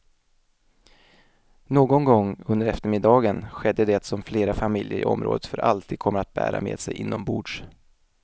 Någon gång under eftermiddagen skedde det som flera familjer i området för alltid kommer att bära med sig inombords.